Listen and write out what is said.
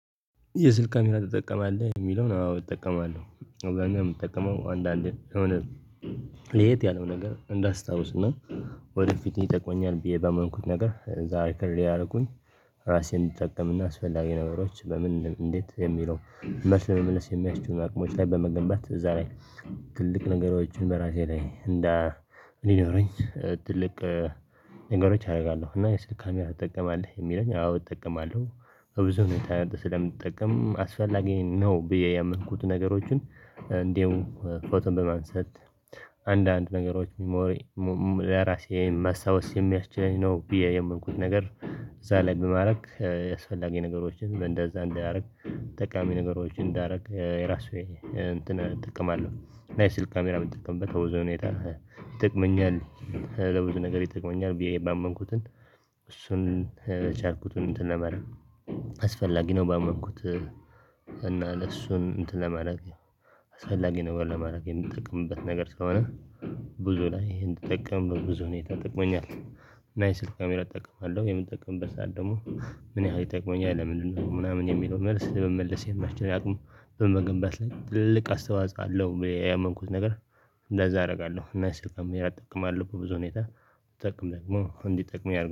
የስልክ ካሜራ ትጠቀማለህ? የሚለውን አዎ እጠቀማለሁ። አብዛኛው እምጠቀመው አንዳንዴ የሆነ ለየት ያለው ነገር እንዳስታውስና ወደፊት ይጠቅመኛል ብዬ ባመንኩት ነገር ዛሬ ከሌላ አልኩኝ። ራሴን እንድጠቀምና አስፈላጊ ነገሮች በምን እንዴት የሚለው መልስ ለመመለስ የሚያስችሉን አቅሞች ላይ በመገንባት እዛ ላይ ትልቅ ነገሮችን በራሴ ላይ እንደ ሊኖረኝ ትልቅ ነገሮች አደርጋለሁ እና የስልክ ካሚራ ትጠቀማለህ የሚለኝ አዎ እጠቀማለሁ። በብዙ ሁኔታ ስለምትጠቀም አስፈላጊ ነው ብዬ ያመልኩትን ነገሮችን እንደው ፎቶን በማንሰልት አንዳንድ ነገሮች ለራሴ ማስታወስ የሚያስችለኝ ነው። ብዬ የምልኩት ነገር እዛ ላይ በማድረግ አስፈላጊ ነገሮችን እንደዛ እንዳያደርግ ጠቃሚ ነገሮችን እንዳረግ የራሱ እንትን እጠቀማለሁ። እና የስልክ ካሜራ ብንጠቀምበት በብዞ ሁኔታ ይጠቅመኛል። ለብዙ ነገር ይጠቅመኛል ብዬ ባመንኩትን እሱን ቻልኩትን እንትን ለማድረግ አስፈላጊ ነው። ባመንኩት እና ለሱን እንትን ለማድረግ አሳፈላጊ ነገር ለማድረግ የምትጠቅምበት ነገር ስለሆነ ብዙ ላይ ይሄን ተጠቀም ብዙ ሁኔታ ጠቅሞኛል። እና ይሄ ስልክ ካሜራ እጠቀማለሁ የምጠቀምበት ሰዓት ደግሞ ምን ያህል ይጠቅመኛል ለምንድነው? ምናምን የሚለው መልስ ለመመለስ የሚስችል አቅሙ በመገንባት ላይ ትልቅ አስተዋጽአ አለው። ቢየ ያመንኩት ነገር እንደዛ አደርጋለሁ እና የስልክ ካሚራ እጠቀማለሁ በብዙ ሁኔታ። እጠቀም ደግሞ እንዲጠቅም ያደርገዋል